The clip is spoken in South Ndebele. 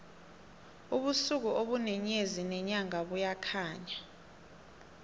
ubusuku ubune nyezi nenyanga buyakhanya